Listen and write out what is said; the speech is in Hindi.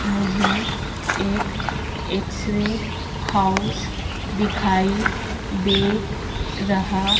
मुझे एक एक्स रे हाउस दिखाई दे रहा--